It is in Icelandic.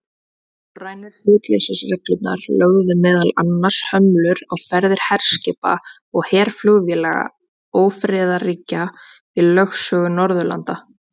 Norrænu hlutleysisreglurnar lögðu meðal annars hömlur á ferðir herskipa og herflugvéla ófriðarríkja í lögsögu Norðurlanda.